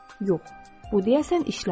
Yox, bu deyəsən işləmir.